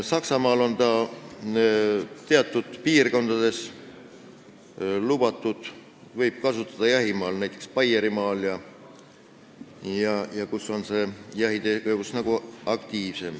Saksamaal on summutid teatud piirkondades lubatud, neid võib kasutada jahimaal, näiteks Baierimaal, seal, kus on aktiivsem jahitegevus.